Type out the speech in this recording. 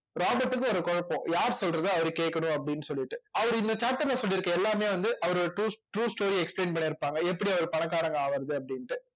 ராபர்ட்க்கு ஒரு குழப்பம் யார் சொல்றது அவரு கேட்கணும் அப்படின்னு சொல்லிட்டு அவரு இந்த chapter ல சொல்லியிருக்கிற எல்லாமே வந்து அவருடைய true true story explain பண்ணிருப்பாங்க எப்படி அவர் பணக்காரங்க ஆவுறது அப்படின்னுட்டு